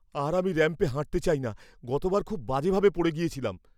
আর আমি র‍্যাম্পে হাঁটতে চাই না। গতবার খুব বাজে ভাবে পড়ে গিয়েছিলাম।